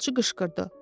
Qaravulçu qışqırdı.